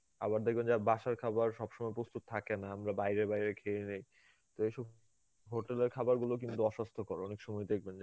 আবার দেখবেন যে বাসার খাবার সব সময় প্রস্তুত থাকে না, আমরা বাইরে বাইরে খেয়ে নেই, তো এইসব hotel এর খাবারগুলো কিন্তু অস্বাস্থ্যকর অনেক সময় দেখবেন